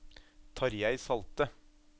Tarjei Salte